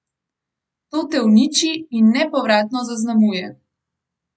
To te uniči in nepovratno zaznamuje.